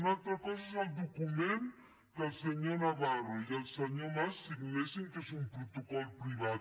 una altra cosa és el document que el senyor navarro i el senyor mas signessin que és un protocol privat